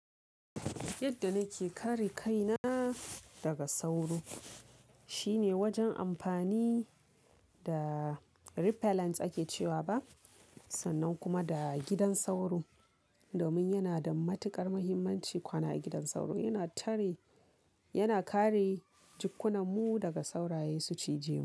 Yadda nake kare kaina daga sauro shine wajen amfani da repellents ake cewa ba, sannan kuma da gidan sauro. Domin yana da matuƙar muhimmanci kwana a gidan sauro, yana tare, yana kare jikkunan mu daga sauraye su cije mu.